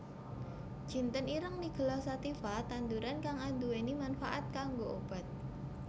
Jinten ireng nigella sativa tanduran kang anduwèni manfaat kanggo obat